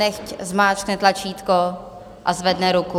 Nechť zmáčkne tlačítko a zvedne ruku.